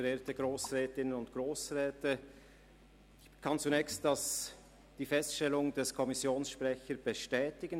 Ich kann zunächst die Feststellung des Kommissionssprechers bestätigen: